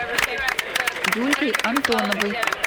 юлькой антоновой